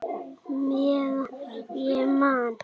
Meðan ég man!